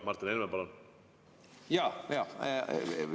Martin Helme, palun!